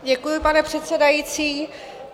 Děkuji, pane předsedající.